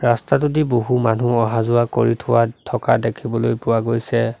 ৰাস্তাটোদি বহু মানুহ অহা যোৱা কৰি থোৱা থকা দেখিবলৈ পোৱা গৈছে।